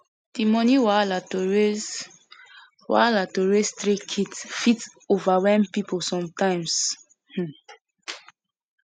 di money wahala to raise wahala to raise three kids fit overwhelm pipul sometimes um